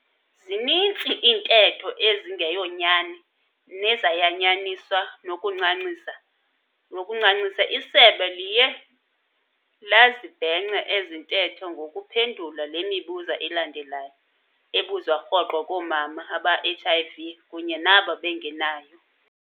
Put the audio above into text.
Zinintsi iintetho ezingeyonyani nezayanyaniswa nokuncancisa, isebe liye lazibhenca ezintetho ngokuphendula le mibuzo ilandelayo ebuzwa rhoqo koomama abane-HIV kunye nabo bengenayo.